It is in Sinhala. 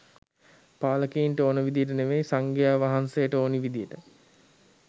පාලකයින්ට ඕනි විදියට නෙවේ සංගාය වහන්සේට ඕනි විදිහටයි